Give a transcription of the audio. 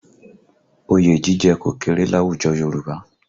Oyè jíjẹ kò kéré láwùjọ Yorùbá